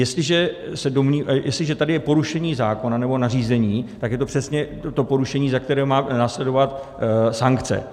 Jestliže tady je porušení zákona nebo nařízení, tak je to přesně to porušení, za které má následovat sankce.